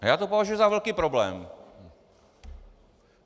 A já to považuji za velký problém.